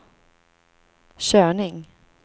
körning